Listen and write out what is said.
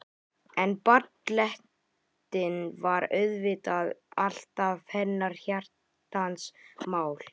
En ballettinn var auðvitað alltaf hennar hjartans mál.